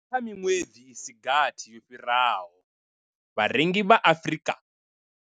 Kha miṅwedzi i si gathi yo fhiraho, vharengi vha Afrika.